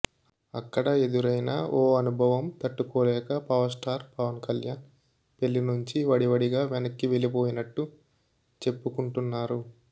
అక్కడ ఎదురైన ఓ అనుభవం తట్టుకోలేక పవర్ స్టార్ పవన్ కళ్యాణ్ పెళ్లి నుంచి వడివడిగా వెనక్కి వెళ్ళిపోయినట్టు చెప్పుకుంటున్నారు